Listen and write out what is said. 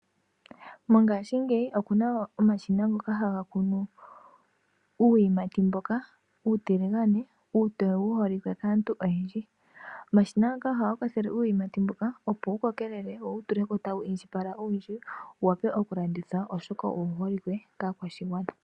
Ngashingeyi okuna omashina ngoka haga kunu uuyimati mboka uutiligane uutoye wu holike kaantu oyendji. Omashina ngaka ohaga kwathele uuyimati mboka opo wu kokelele, wo wu tuleko tawu indjipala owundji wu wape oku landithwa oshoka owu holike kaakwashigwana.